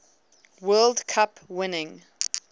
world cup winning